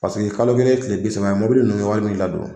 Paseke kalo kelen ye kile bi saba ye. Mɔbili nunnu be wari mun ladon